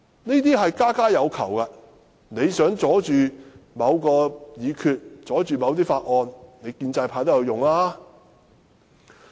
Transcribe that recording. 這事家家有求，你想阻礙某項議決、法案通過，建制派也會"拉布"。